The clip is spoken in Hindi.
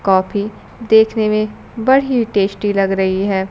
कॉफी देखने में बड़ी टेस्टी लग रही है।